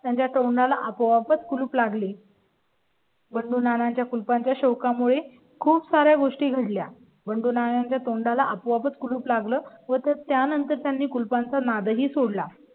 त्यांच्या तोंडा ला आपोआपच कुलूप लागले. बंडू नाना च्या कुलपा च्या शोका मुळे खूप सार् या गोष्टी घडल्या. पण दोन आणि च्या तोंडा ला आपोआपच कुलूप लागलं होतं. त्यानंतर त्यांनी कुलपा चा नाद ही सोड ला,